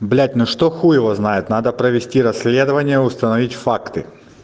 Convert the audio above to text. блять ну что хуй его знает надо провести расследование установить факты